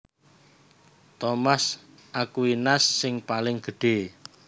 Thomas Aquinas sing paling gedhé